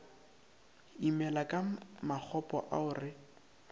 imela ka makgopo ao re